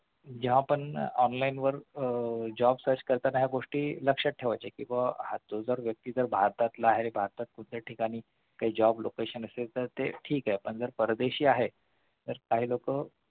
ज्या पण online वर आह job search करताना ह्या गोष्टी लक्ष्यात ठेवायच्या कि तो जर व्यक्ती जर भारताबाहेर किंवा दुसऱ्या ठिकाणी काही job location तर ते ठीक आहे पण परदेशी आहे तर काही लोकं